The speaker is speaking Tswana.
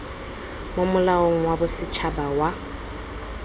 mo molaong wa bosetshaba wa